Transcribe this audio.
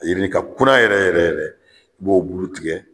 A yirini ka kunna yɛrɛ yɛrɛ yɛrɛ, i b'o bulu tigɛ